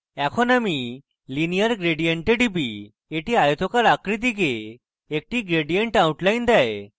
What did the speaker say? এখন আমি linear gradient a টিপি এটি আয়তকার আকৃতিকে একটি gradient outline দেয়